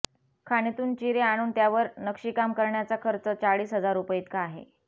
खाणीतून चिरे आणूण त्यावर नक्षीकाम करण्याचा खर्च चाळीस हजार रुपये इतका आहे